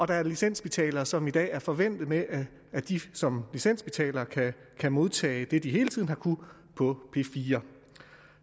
der er licensbetalere som i dag er forvænte med at de som licensbetalere kan modtage det de hele tiden har kunnet på p4